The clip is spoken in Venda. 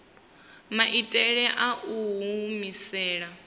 maitele a u i humisela